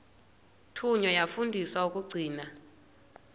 thunywa yafundiswa ukugcina